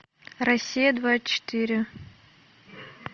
россия двадцать четыре